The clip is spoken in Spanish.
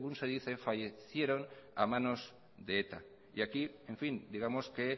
según se dice fallecieron a manos de eta y aquí en fin digamos que